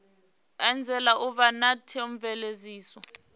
anzela u vha na theomveledziso